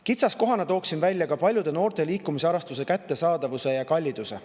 Kitsaskohana toon välja liikumisharrastuse kehva kättesaadavuse paljudele noortele ja selle kalliduse.